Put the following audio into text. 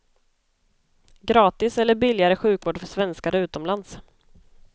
Gratis eller billigare sjukvård för svenskar utomlands.